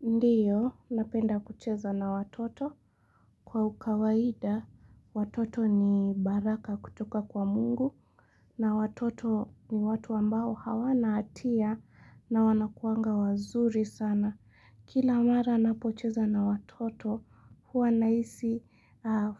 Ndiyo, napenda kucheza na watoto. Kwa ukawaida, watoto ni baraka kutoka kwa mungu. Na watoto ni watu ambao hawana atia na wanakuanga wazuri sana. Kila mara napocheza na watoto, huwa naisi